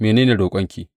Mene ne roƙonki?